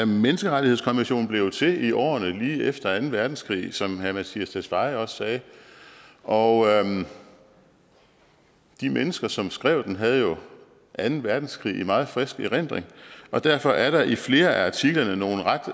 menneskerettighedskonventionen blev jo til i årene lige efter anden verdenskrig som herre mattias tesfaye også sagde og de mennesker som skrev den havde jo anden verdenskrig i meget frisk erindring og derfor er der i flere af artiklerne nogle ret